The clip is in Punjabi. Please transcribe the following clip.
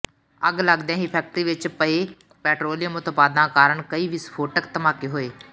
ਅੱਗ ਲੱਗਦਿਆਂ ਫੈਕਟਰੀ ਵਿੱਚ ਪਏ ਪੈਟਰੋਲੀਅਮ ਉਤਪਾਦਾਂ ਕਾਰਨ ਕਈ ਵਿਸਫੋਟਕ ਧਮਾਕੇ ਹੋਏ